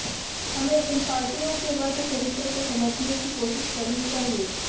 हमें इन पार्टियों के वर्गचरित्र को समझने की कोशिश करनी चाहिए